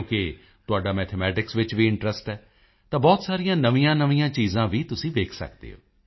ਕਿਉਕਿ ਤੁਹਾਡਾ ਮੈਥਮੈਟਿਕਸ ਵਿੱਚ ਇੰਟਰੈਸਟ ਹੈ ਤਾਂ ਬਹੁਤ ਸਾਰੀਆਂ ਨਵੀਆਂਨਵੀਆਂ ਚੀਜ਼ਾਂ ਵੀ ਤੁਸੀਂ ਵੇਖ ਸਕਦੇ ਹੋ